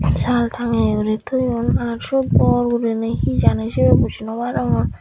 saal tangeye guri toyon ar suot bor guriney he jani sibey buji noarongor.